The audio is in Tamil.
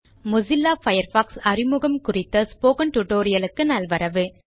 மொசில்லா பயர்ஃபாக்ஸ் அறிமுகம் குறித்த ஸ்போக்கன் டியூட்டோரியல் க்கு நல்வரவு